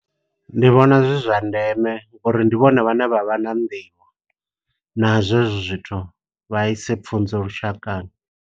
Ndi vhona zwi zwa ndeme ngo uri ndi vhone vhane vha vha na nḓivho nazwo hezwo zwithu. Vha ise pfunzo lushakani.